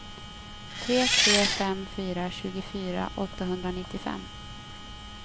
tre tre fem fyra tjugofyra åttahundranittiofem